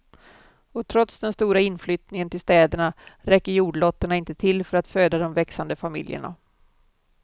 Och trots den stora inflyttningen till städerna räcker jordlotterna inte till för att föda de växande familjerna.